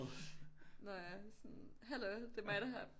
Nå ja sådan hallo det er mig der har